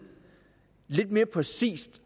lidt mere præcis